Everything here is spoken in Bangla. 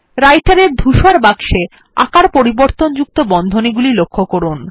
Writer এর ধূসর বাক্সে আকার পরিবর্তনযোগ্য বন্ধনীগুলি লক্ষ্য করুন